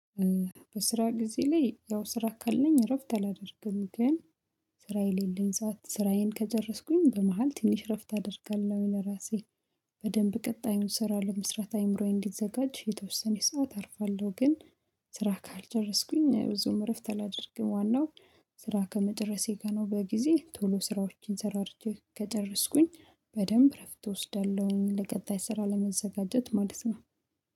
በስራ ጊዜ ላይ ያው ስራ ካለኝ እረፍት አላደርግም ግን ስራ የሌለኝ ሰዓት ስራዬን ከጨረስኩኝ በመሃል ትንሽ እረፍት አደርጋለሁ ለራሴ። በደንብ ቀጣዩን ስራ ለመስራት አይምሮዬ እንዲዘጋጅ የተወሰነ ሰዓት አርፋለሁ። ግን ስራ ካልጨረስኩኝ ብዙም እረፍት አላደርግም ዋናው ስራ ከመጨረሴ ጋር ነው። በጊዜ ቶሎ ስራዎችን ሰራርቼ ከደረስኩኝ በደንብ እረፍት እወስዳለሁኝ ለቀጣይ ስራ ለመዘጋጀት ማለት ነው